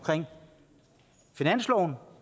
finansloven